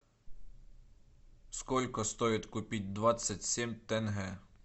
сколько стоит купить двадцать семь тенге